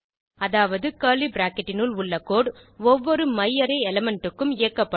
அதாவது curly bracket னினுள் உள்ள கோடு ஒவ்வொரு மையாரே எலிமெண்ட் க்கும் இயக்கப்படும்